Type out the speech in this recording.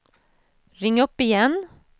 ring upp igen